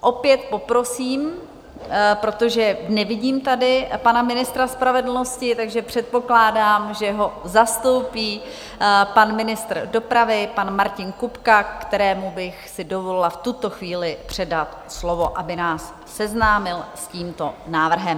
Opět poprosím, protože nevidím tady pana ministra spravedlnosti, takže předpokládám, že ho zastoupí pan ministr dopravy pan Martin Kupka, kterému bych si dovolila v tuto chvíli předat slovo, aby nás seznámil s tímto návrhem.